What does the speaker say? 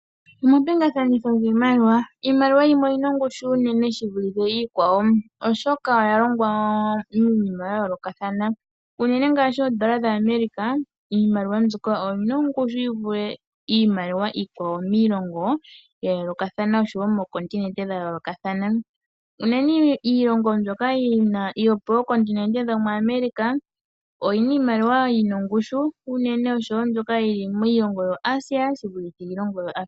Omapingathanitho giimaliwa, iimaliwa yimwe oyina ongushu unene shivulithe iikwawo oshoka oyalongwa miinima yayoolokathana uunene ngaashi oondola dha America iimaliwa mbyoka oyina ongushu yivule iimaliwa iikwawo miilongo yayoolokathana oshowo moo kontinete dha yoolokathana, unene iilongo mbyoka yopookontinete dhomo America oyina iimaliwa yina ongushu unene oshowo mbyoka yili miilongo yo Asia shivulithe iilongo yo Africa.